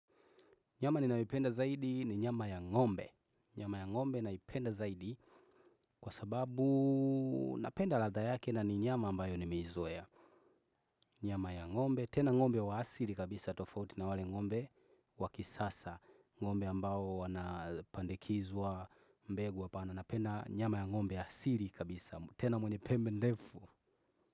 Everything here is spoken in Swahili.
Nyama ninayoipenda zaidi ni nyama ya ngombe. Nyama ya ngombe naipenda zaidi kwa sababu napenda ladhaa yake na ni nyama ambayo nimeizoea. Nyama ya ngombe, tena ngombe wa asiri kabisa tofauti na wale ngombe wakisasa. Ngombe ambao wanapandikizwa mbegu wapana. Na napenda nyama ya ngombe asiri kabisa. Tena mwenye pembe ndefu.